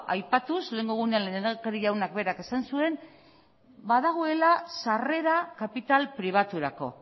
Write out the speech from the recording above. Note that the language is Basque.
aipatuz lehengo egunean lehendakariak berak esan zuen badagoela sarrera kapital pribaturako